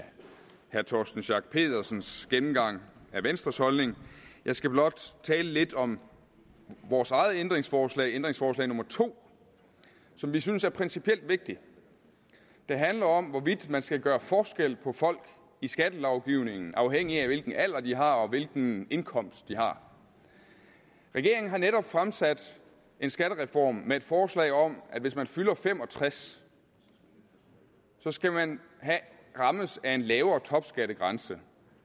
herre torsten schack pedersens gennemgang af venstres holdning jeg skal blot tale lidt om vores eget ændringsforslag ændringsforslag nummer to som vi synes er principielt vigtigt det handler om hvorvidt man skal gøre forskel på folk i skattelovgivningen afhængigt af hvilken alder de har og hvilken indkomst de har regeringen har netop fremsat en skattereform med et forslag om at hvis man fylder fem og tres år så skal man rammes af en lavere topskattegrænse